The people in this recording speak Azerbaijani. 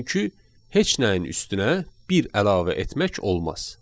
Çünki heç nəyin üstünə bir əlavə etmək olmaz.